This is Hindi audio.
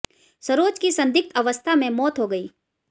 सरोज की संदिग्ध अवस्था में मौत हो गई